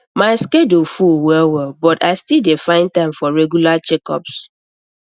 my schedule full wellwell but i still dey find time for regular checkups